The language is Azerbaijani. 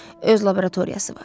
Öz laboratoriyası var.